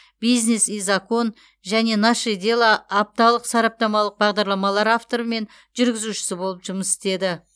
бизнес и закон және наше дело апталық сараптамалық бағдарламалар авторы мен жүргізушісі болып жұмыс істеді